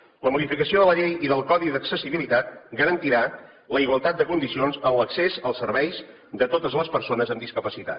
la modificació de la llei i del codi d’accessibilitat garantirà la igualtat de condicions en l’accés als serveis de totes les persones amb discapacitat